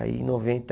Aí em noventa